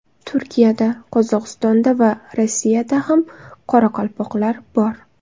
Turkiyada, Qozog‘istonda va Rossiyada ham qoraqalpoqlar bor.